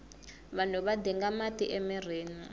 vanhu va dinga mati emirhini